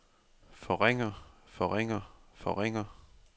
forringer forringer forringer